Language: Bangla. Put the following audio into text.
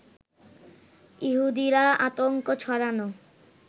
ইহুদিরা আতঙ্ক ছড়ানো